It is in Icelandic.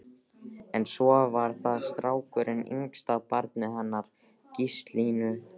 En svo var það strákurinn, yngsta barnið hennar Gíslínu.